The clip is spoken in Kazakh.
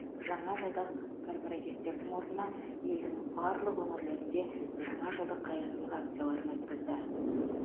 жаңа жылдық корпоративтердің орнына елдің барлық өңірлерінде жаңа жылдық қайырымдылық акцияларын өткізді